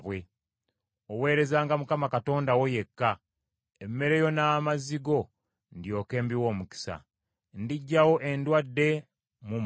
Oweerezanga Mukama Katonda wo yekka, emmere yo n’amazzi go ndyoke mbiwe omukisa. Ndiggyawo endwadde mu mmwe;